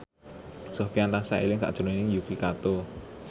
Sofyan tansah eling sakjroning Yuki Kato